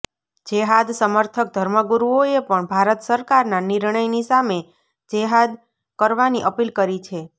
જેહાદ સમર્થક ધર્મગુરુઓએ પણ ભારત સરકારના નિર્ણયની સામે જેહાદ કરવાની અપીલ કરી છે